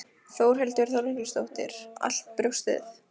Þórhildur Þorkelsdóttir: Allt brjóstið?